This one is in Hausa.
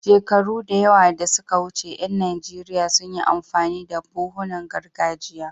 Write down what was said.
Shekaru da yawa da suka wuce, ƴan Najeriya sun yi amfani da buhunan gargajiya.